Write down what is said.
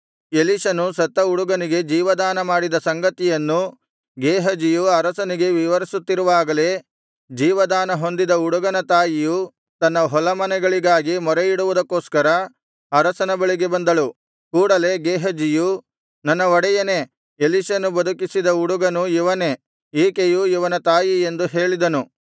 ಎಲೀಷನು ಸತ್ತ ಹುಡುಗನಿಗೆ ಜೀವದಾನಮಾಡಿದ ಸಂಗತಿಯನ್ನು ಗೇಹಜಿಯು ಅರಸನಿಗೆ ವಿವರಿಸುತ್ತಿರುವಾಗಲೇ ಜೀವದಾನಹೊಂದಿದ ಹುಡುಗನ ತಾಯಿಯು ತನ್ನ ಹೊಲಮನೆಗಳಿಗಾಗಿ ಮೊರೆಯಿಡುವುದಕ್ಕೋಸ್ಕರ ಅರಸನ ಬಳಿಗೆ ಬಂದಳು ಕೂಡಲೇ ಗೇಹಜಿಯು ನನ್ನ ಒಡೆಯನೇ ಎಲೀಷನು ಬದುಕಿಸಿದ ಹುಡುಗನು ಇವನೇ ಈಕೆಯು ಇವನ ತಾಯಿ ಎಂದು ಹೇಳಿದನು